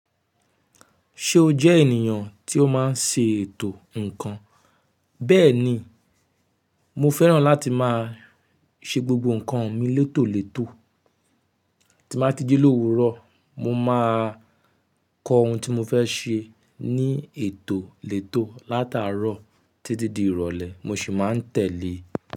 Ṣé o jẹ́ ènìyàn tí ó máa ń se ètò ǹkan? Bẹ́ẹ̀ni, mo fẹ́ràn láti máa ṣe gbogbo ǹkan mi létòlètò. Tí n bá ti ji lowurọ, mo máa kọ ohun tí mo fẹ́ ṣe ní ètò létò látàárọ̀ títí di ìrọ̀lẹ́, mo ṣì máa ń tẹ́lẹ̀ e.